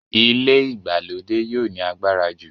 ilé ìgbàlódé yio ní agbára jù.